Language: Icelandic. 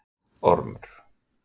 Ormur